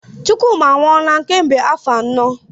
Chukwuma anwụọla kemgbe arọ anọ.